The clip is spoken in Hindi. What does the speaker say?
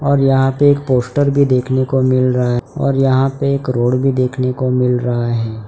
और यहां पे एक पोस्टर भी देखने को मिल रहा और यहां पे एक रोड भी देखने को मिल रहा है।